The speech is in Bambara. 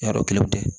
Yarɔ kelenw tɛ